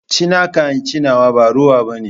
Ci naka in ce nawa ba rowa ɓane.